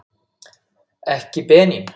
Ekki Benín.